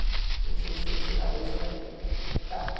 Como se fosse, sei lá, dois reais hoje.